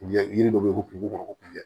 U ye yiri dɔ bɛ ye ko kungo kɔnɔ ko kuncɛ